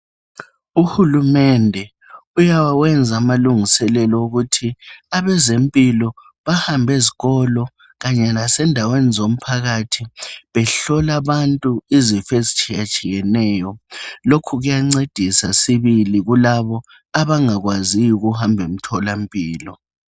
Uhulumende uyakwenza amalungiselelo wokuthi abezempilo bahambe ezkolo kanye lasendaweni zomphakathi behlola abantu izifo ezitshiyeneyo. Lukho kuyancedisa sibili abantu abangakwaziyo ukuhamba emtholampilo.